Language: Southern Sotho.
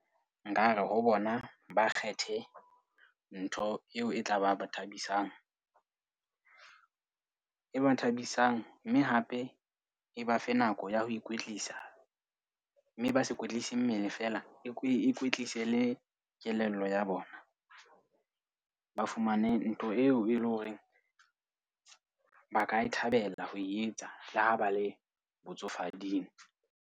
Nkare ho bona, ba kgethe ntho eo e tla ba ba thabisang. E ba thabisang mme hape e ba fe nako ya ho ikwetlisa. Mme ba se kwetlise mmele feela, e kwetlise le kelello ya bona. Ba fumane ntho eo e leng hore ba ka e thabela ho e etsa le ho ba le botsofading.